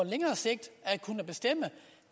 længere sigt at kunne bestemme